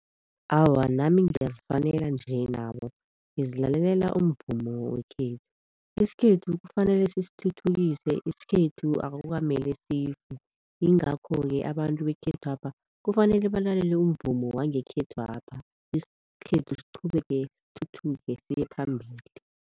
Awa, nami ngiyazifanela nje nabo ngizilalelela umvumo wekhethu. Isikhethu kufanele sisithuthukise, isikhethu akukamele sife. Yingakho-ke abantu bekhethwapha kufanele balalele umvumo wangekhethwapha, isikhethu siqhubeke sithuthuke siyephambili.